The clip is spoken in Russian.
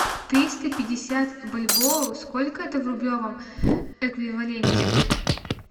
триста пятьдесят бальбоа сколько это в рублевом эквиваленте